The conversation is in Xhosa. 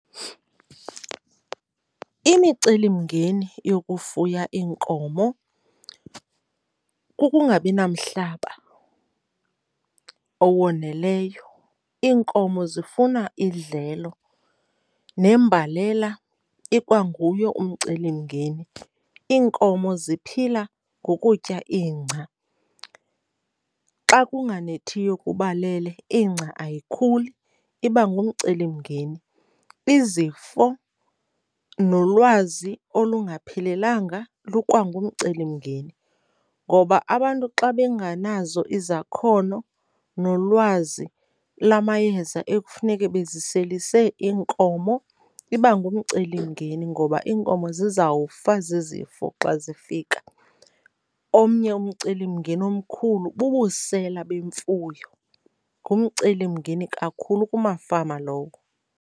Imicelimngeni yokufuya iinkomo kukungabi namhlaba owoneleyo, iinkomo zifuna idlelo. Nembalela ikwanguye umcelimngeni, iinkomo ziphila ngokutya ingca. Xa kunganethiyo kubalele ingca ayikhuli, iba ngumcelimngeni. Izifo nolwazi olungaphelelanga lukwangumcelimngeni ngoba abantu xa benganazo izakhono nolwazi lamayeza ekufuneke beziselise iinkomo, iba ngumcelimngeni ngoba iinkomo zizawufa zizifo xa zifika. Omnye umcelimngeni omkhulu bubusela bemfuyo. Ngumcelimngeni kakhulu kumafama lowo.